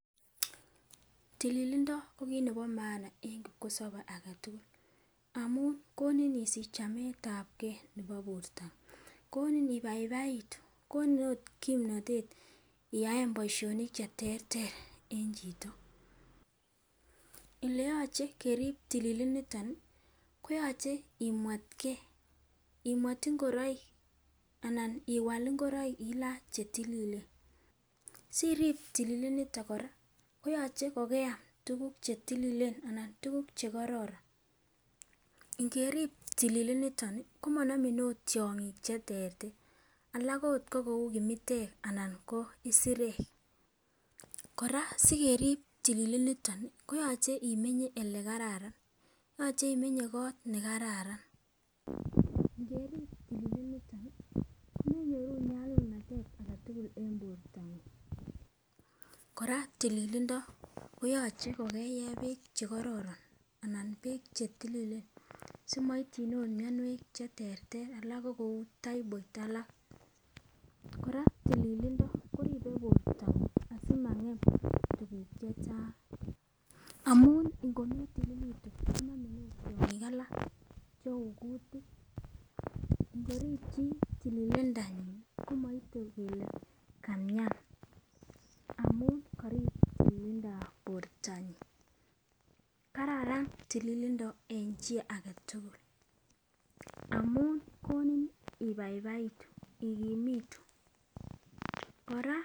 Tililindo ko kit neo maana en kipkosobe agetukul amun koni isich chametabgee nebo bortangung koni ibaibaitu, koni ot kipmnotete iyaen boishonik cheterter en chito. oleyoche kerib tililiniton nii koyoche imwetgee, imwet ingoroik anan iwal ingoroik ilany chetililen. ngerib tililiniton nii komonomin ot tyong'ik cheterter alak ot ko kou kimitek anan ko isirek. Koraa sikereib tililiniton nii koyoche imenye ole kararan yoche imenye kot nekararan. ngerib tililiniton nii komenyoru nyalulnatet agetukul en bortang'ung', koraa tililindo koyoche kokeyee beek chekororon anan beek chetililen simoityin okot mionwek cheterter alak ko kou typhoid alak. Kora tililindo koribe bortang'ung asimangem tukuk chechang', amun nko metililitu konomin ot tyongik alak cheu kutik, ngorib chii tililindanyin komoite kele kamian amun korib tililindab bortanyin. Kararan tililindo en chii agetukul amun koni ibaibaitu ikimitu koraa.